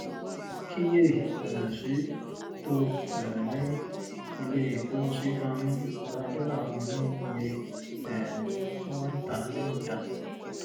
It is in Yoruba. kíyè um sí: tó um ni ilé ìkóhunsí máa ń ra dọ́là wọn ní iye um tí wọ́n ń tà á níta.